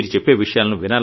మీరు చెప్పే విషయాలను